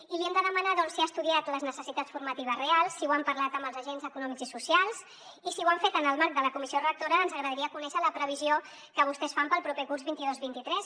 i li hem de demanar doncs si ha estudiat les necessitats formatives reals si ho han parlat amb els agents econòmics i socials i si ho han fet en el marc de la comissió rectora ens agradaria conèixer la previsió que vostès fan pel proper curs vint dos vint tres